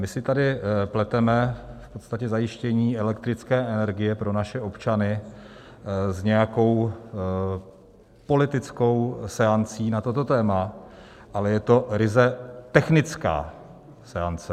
My si tady pleteme v podstatě zajištění elektrické energie pro naše občany s nějakou politickou seancí na toto téma, ale je to ryze technická seance.